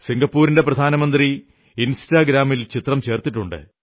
സിംഗപ്പൂരിന്റെ പ്രധാനമന്ത്രി ഇൻസ്റ്റാഗ്രാമിൽ ചിത്രം ചേർത്തിട്ടുണ്ട്